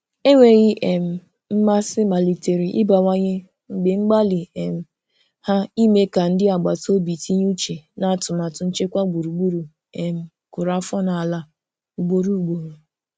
Enweghị um mmasị malitere ịbawanye mgbe mgbalị um ha ime ka ndị agbataobi tinye uche n'atụmatụ nchekwa gburugburu um kụrụ afọ n'ala ugboro ugboro.